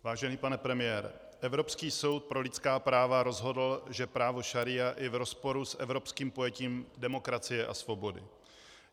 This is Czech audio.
Vážený pane premiére, Evropský soud pro lidská práva rozhodl, že právo šaría je v rozporu s evropským pojetím demokracie a svobody.